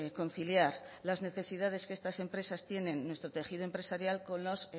conciliar las necesidades que estas empresas tienen en nuestro tejido empresarial con los